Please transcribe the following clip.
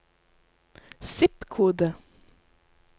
zip-kode